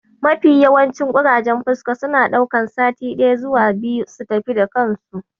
Mafi yawancin ƙurajen fuska suna ɗaukan sati ɗaya zuwa biyu su tafi da kansu.